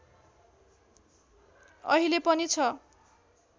अहिले पनि छ